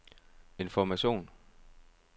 information